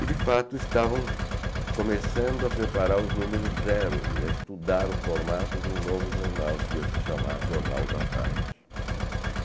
E, de fato, estavam começando a preparar os números zero, a estudar o formato de um novo jornal que ia se chamar Jornal da Tarde.